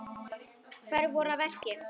Hverjir voru að verki?